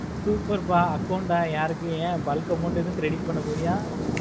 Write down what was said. super ப account ஆஹ் யாருக்கு யா bulk amount ஏதும் credit பண்ண போறியா?